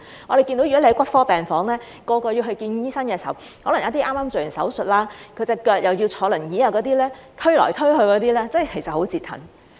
我們看到在骨科病房，去見醫生的可能有一些是剛剛做完手術，有腳傷要坐輪椅的病人，他們被推來推去，其實真的是很折騰。